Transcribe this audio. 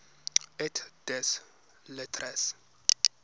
et des lettres